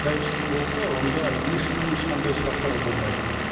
тәуелсіз болса онда ешкім ешқандай сұрақтар болмайды